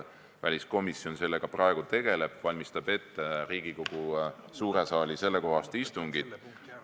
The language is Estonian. Väliskomisjon praegu tegeleb sellega, et valmistab ette Riigikogu suure saali sellekohast istungit.